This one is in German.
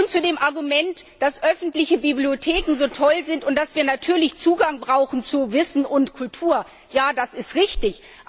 Zu dem Argument, dass öffentliche Bibliotheken so toll sind und dass wir natürlich Zugang zu Wissen und Kultur brauchen Ja, das ist richtig.